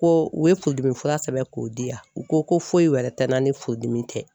Ko u ye furudimi fura sɛbɛn k'o di yan, u ko ko foyi wɛrɛ tɛ n'an ni furudimi tɛ.